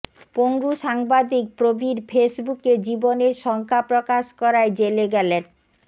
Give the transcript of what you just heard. পঙ্গু সাংবাদিক প্রবীর ফেসবুকে জীবনের শঙ্কা প্রকাশ করায় জেলে গেলেন